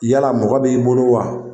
Yala mɔgɔ b'i bolo wa?